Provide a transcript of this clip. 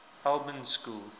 albans school